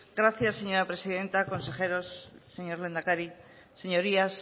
gracias señora presidenta consejeros señor lehendakari señorías